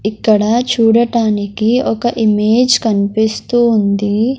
ఇక్కడ చూడటానికి ఒక ఇమేజ్ కన్పిస్తూ ఉంది.